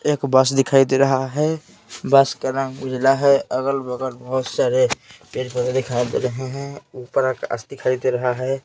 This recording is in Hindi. एक बस दिखाई दे रहा है बस का रंग उजला है अगल बगल बहुत सारे पेड़-पौधे दिखाई दे रहे हैं ऊपर आकाश दिखाई दे रहा है।